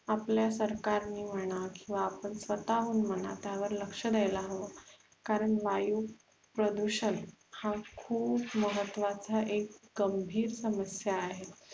आपल्या सरकारने म्हणा किंवा आपण स्वतःहून म्हणा त्यावर लक्ष द्यायला हवं कारण वायू प्रदुषण हा खुप महत्वाचा एक गंभीर समस्या आहे